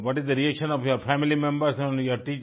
so what is the reaction of your family members your